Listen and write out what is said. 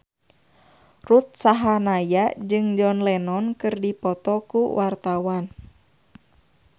Ruth Sahanaya jeung John Lennon keur dipoto ku wartawan